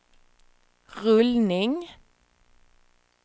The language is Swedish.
rullning